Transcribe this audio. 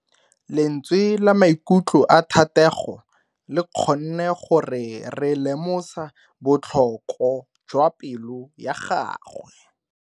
Lentswe la maikutlo a Thatego le kgonne gore re lemosa botlhoko jwa pelo ya gagwe.